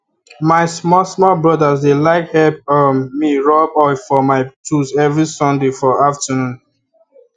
my small small brother dey like help um me rub oil for my tools every sunday for afternoon